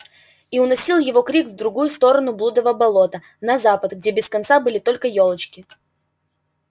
и уносил его крик в другую сторону блудова болота на запад где без конца были только ёлочки